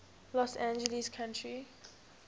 los angeles county